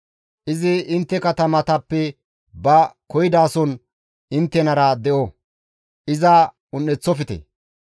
Izi intte katamatappe ba koyidason inttenara de7o; iza un7eththofte.